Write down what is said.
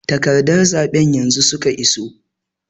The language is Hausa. Takarɗun zaɓen yanzu suka iso.